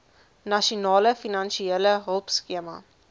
nasionale finansiële hulpskema